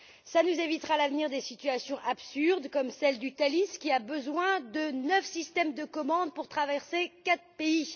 Cela nous évitera à l'avenir des situations absurdes, comme celle du Thalys, qui a besoin de neuf systèmes de commande pour traverser quatre pays!